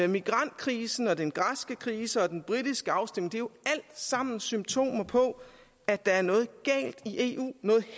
migrantkrisen den græske krise og den britiske afstemning er jo alt sammen symptomer på at der er noget